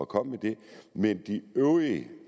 komme med det men de øvrige